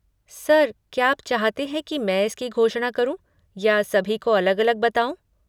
Sir, क्या आप चाहते हैं कि मैं इसकी घोषणा करूँ या सभी को अलग अलग बताऊँ?